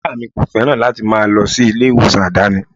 Ìyá mi kò féràn láti máa lọ sí ilé ìwòsàn àdáni.